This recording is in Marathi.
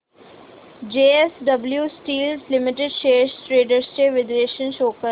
JSW steel limited shares trends चे विश्लेषण शो कर